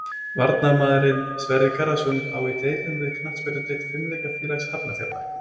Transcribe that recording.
Varnarmaðurinn Sverrir Garðarsson á í deilum við knattspyrnudeild Fimleikafélags Hafnarfjarðar.